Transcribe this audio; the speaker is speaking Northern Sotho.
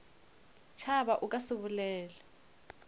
tšhaba o ka se bolele